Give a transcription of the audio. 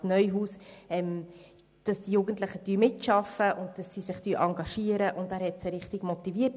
Regierungsrat Neuhaus hatte sich dafür ausgesprochen und die Jugendlichen richtiggehend motiviert.